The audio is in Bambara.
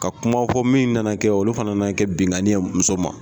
Ka kuma fɔ min nana kɛ ole fana nana kɛ binkanni ye muso ma.